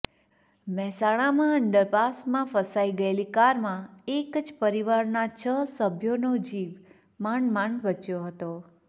મહેસાણામાં અંડરપાસમાં ફસાઈ ગયેલી કારમાં એક જ પરિવારના છ સભ્યોનો જીવ માંડ માંડ બચ્યો હતો